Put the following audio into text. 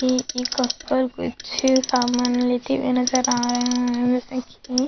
ई ई ककर कुछ सामान लेते हुए नजर आ रहा है की --